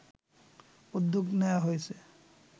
উদ্যোগ নেয়া হয়েছে